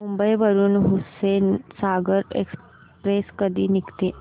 मुंबई वरून हुसेनसागर एक्सप्रेस कधी निघते